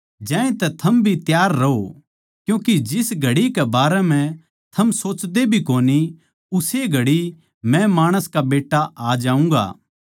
ज्यांतै थम भी त्यार रहो क्यूँके जिस घड़ी कै बारै म्ह थम सोचदे भी कोनी उस्से घड़ी मै माणस का बेट्टा आ जाऊँगा